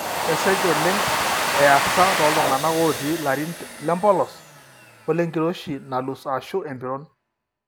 Kesesh ooleng easa tooltung'anak ootii ilarin lempolos olenkiroshi nalus ashu empiron.